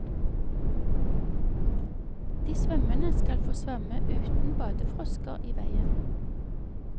De svømmende skal få svømme uten badefrosker i veien.